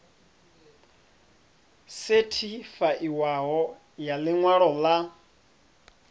sethifaiwaho ya ḽi ṅwalo ḽa